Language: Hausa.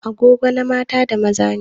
Agogo na mata da maza ne.